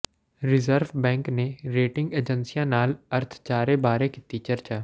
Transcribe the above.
reserve bank ਨੇ rating ਏਜੰਸੀਆਂ ਨਾਲ ਅਰਥਚਾਰੇ ਬਾਰੇ ਕੀਤੀ ਚਰਚਾ